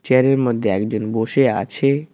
Chair -এর মধ্যে একজন বসে আছে।